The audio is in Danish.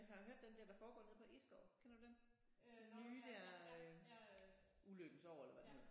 Jeg har hørt den der der foregår nede på Egeskov kender du den? Nye der Ulykkens år eller hvad det hedder